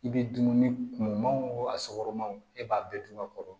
I bɛ dumuni kumu man wo a sɔgɔma e b'a bɛɛ dun a kɔrɔ